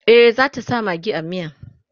e zata sa maggi a miyan